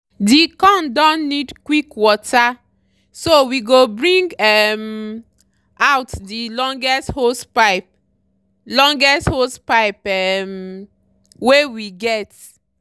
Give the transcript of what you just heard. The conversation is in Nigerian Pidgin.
the corn don need quick water so we go bring um out the longest hosepipe longest hosepipe um wey we get.